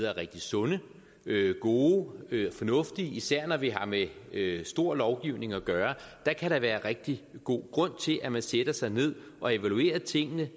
er rigtig sunde gode og fornuftige især når vi har med stor lovgivning at gøre kan der være rigtig god grund til at man sætter sig ned og evaluerer tingene